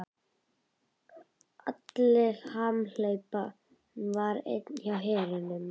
Alli hamhleypa var enn í vinnu hjá hernum.